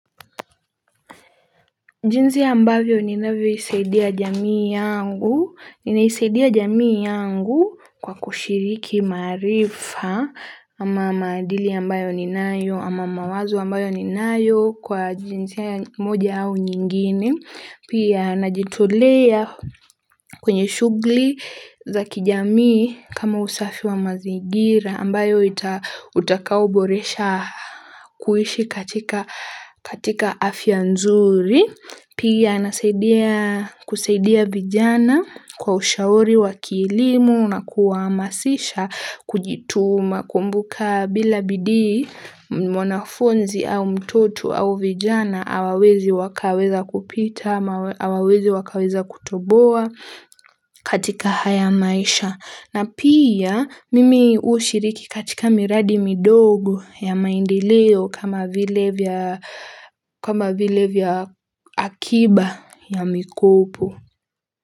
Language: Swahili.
Jinsi ambavyo ninavyoisaidia jamii yangu, ninaisaidia jamii yangu kwa kushiriki maarifa ama maadili ambayo ninayo ama mawazo ambayo ninayo kwa jinsi moja au nyingine, pia najitolea kwenye shughuli za kijamii kama usafi wa mazingira ambayo ita utakaoboresha kuishi katika katika afya nzuri. Pia nasaidia kusaidia vijana kwa ushauri wakielimu na kuwahamasisha kujituma kumbuka bila bidii mwanafunzi au mtoto au vijana hawawezi wakaweza kupita, hawawezi wakaweza kutoboa katika haya maisha. Na pia mimi hushiriki katika miradi midogo ya maendileo kama vile vya akiba ya mikopo.